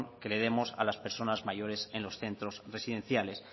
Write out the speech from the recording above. que les demos a las personas mayores en los centros residenciales